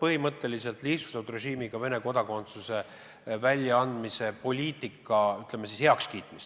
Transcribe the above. põhimõtteliselt lihtsustatud režiimiga Vene kodakondsuse andmise poliitika heakskiitmist.